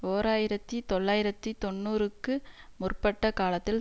ஓர் ஆயிரத்தி தொள்ளாயிரத்தி தொன்னூறுக்கு முற்பட்ட காலத்தில்